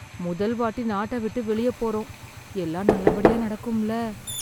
முதல் வாட்டி நாட்ட விட்டு வெளியே போறோம். எல்லாம் நல்லபடியா நடக்கும்ல?